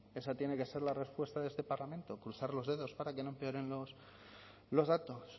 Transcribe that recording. esa tiene que ser la respuesta de este parlamento cruzar los dedos para que no empeoren los datos